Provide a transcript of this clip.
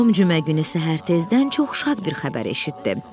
Tom cümə günü səhər tezdən çox şad bir xəbər eşitdi.